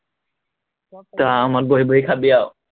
তই আৰামত বহি বহি খাবি আও